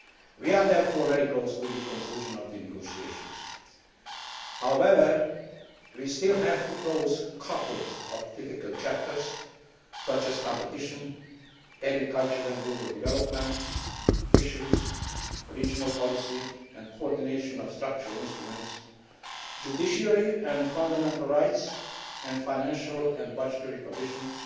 We are therefore very close to the conclusion of the negotiations. However, we still have to close a couple of difficult chapters such as competition, agriculture and rural development, fisheries, regional policy and coordination of structural instruments, the judiciary and fundamental rights, and financial and budgetary provisions,